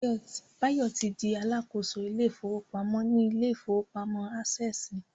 Báyọ̀ ti di Alákóso ilé ìfowópamọ́ ní ilé ìfowópamọ́ Ásẹ̀sì